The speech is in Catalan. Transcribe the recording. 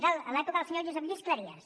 és l’època del senyor josep lluís cleries